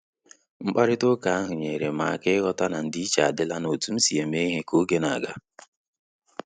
Mkparịta ụka ahụ nyere m aka ịghọta na ndị-iche adịla na otu msi eme ihe ka oge na-aga